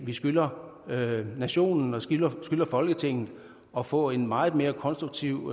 vi skylder nationen og skylder folketinget at få en meget mere konstruktiv